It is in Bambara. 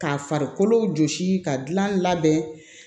Ka farikolo jɔsi ka dilan labɛn